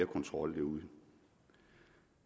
kontrol derude